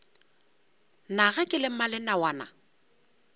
na ge ke le mmalenawana